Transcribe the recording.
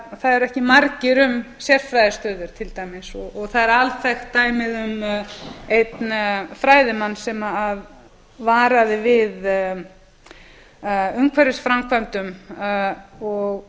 eru ekki margir um sérfræðistöður til dæmis og það er alþekkt dæmið um einn fræðimann sem varaði við umhverfisframkvæmdum og